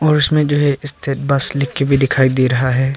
और इसमें जो है स्टेट बस लिख के भी दिखाई दे रहा है।